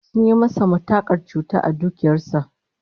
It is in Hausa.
Sun yi masa matukar cuta a dukiyar sa